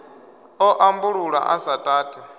ḓo ambulula a sa tati